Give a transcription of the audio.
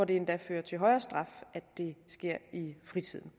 det endda fører til højere straf at det sker i fritiden